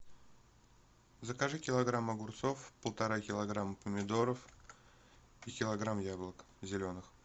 закажи килограмм огурцов полтора килограмма помидоров и килограмм яблок зеленых